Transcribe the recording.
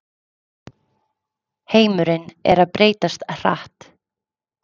Heimurinn er að breytast hratt